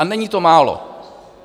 A není to málo.